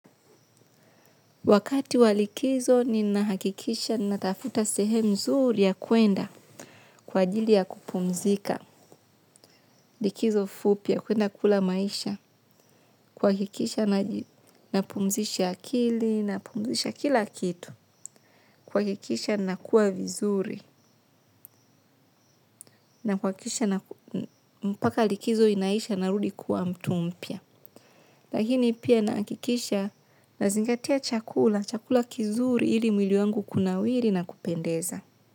Wakati wa likizo ninahakikisha ninatafuta sehemu mzuri ya kuenda kwa ajili ya kupumzika. Likizo fupi ya kuenda kula maisha kuhakikisha napumzisha akili napumzisha kila kitu. Kuhakikisha nakuwa vizuri na kuhakikisha mpaka likizo inaisha narudi kuwa mtu mpya. Lakini pia nahakikisha nazingatia chakula, chakula kizuri ili mwili wangu kunawiri na kupendeza.